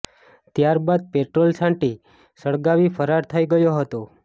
ત્યાર બાદ પેટ્રોલ છાંટી સળગાવી ફરાર થઈ ગયો હતો